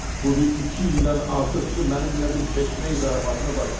Budur iki ildən artıqdır mənimlə bir çeşməyi zarafatını başlayıb.